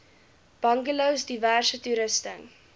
bungalows diverse toerusting